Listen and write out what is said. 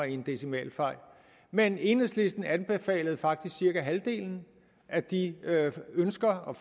en decimalfejl men enhedslisten anbefalede faktisk cirka halvdelen af de ønsker og